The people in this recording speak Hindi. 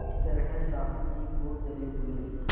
इस तरह साहु जी खूब जलेभुने